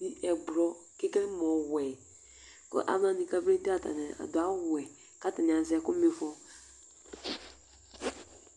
kʋ ɛblɔ ekele mʋ ɔwɛ alu wani kabedu ye atani adu awu wɛ kʋ azɛ ɛkʋ ma ifɔ